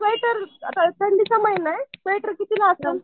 Sweater आता थंडीचा महिना आहे स्वेटर कितीला असल?